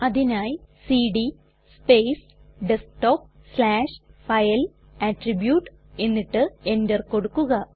അതിനായി CD space desktop slash file attribute എന്നിട്ട് enter കൊടുക്കുക